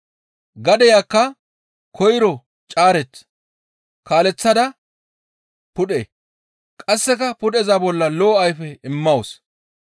Gadeyakka koyro caarech, kaaleththada pudhe, qasseka pudheza bolla lo7o ayfe immawus.